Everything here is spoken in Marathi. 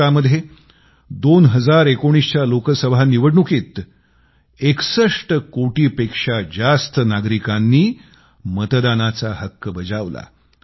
भारतामध्ये 2019च्या लोकसभा निवडणुकीत 61 कोटींपेक्षा जास्त लोकांनी मतदानाचा हक्क बजावला